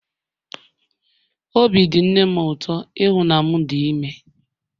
Obi dị nne m ụtọ ịhụ na m dị ime